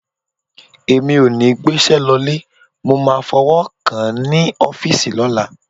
Èmi ò ní gbéṣẹ́ lọ ilé, mo máa fọwọ́ kàn án ní ọ́fíìsì lọ́la.